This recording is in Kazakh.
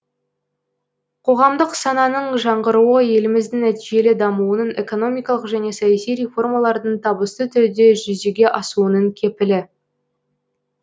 қоғамдық сананың жаңғыруы еліміздің нәтижелі дамуының экономикалық және саяси реформалардың табысты түрде жүзеге асуының кепілі